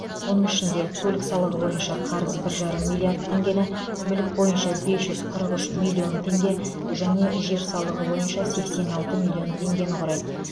оның ішінде көлік салығы бойынша қарыз бір жарым миллиард теңгені мүлік бойынша бес жүз қырық үш миллион теңге және жер салығы бойынша сексен алты миллион теңгені құрайды